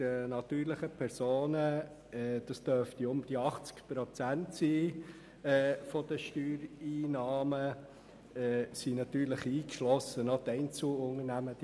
Rund 80 Prozent der Steuereinnahmen stammen von den natürlichen Personen, aber eingeschlossen sind natürlich noch die kleinen Einzelunternehmen;